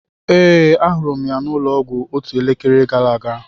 Ee, ahụrụ m ya n'ụlọọgwụ otu elekere gara aga.